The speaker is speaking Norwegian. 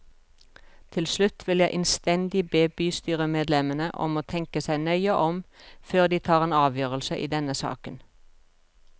Til slutt vil jeg innstendig be bystyremedlemmene om å tenke seg nøye om før de tar en avgjørelse i denne saken.